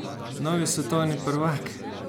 Novi svetovni prvak!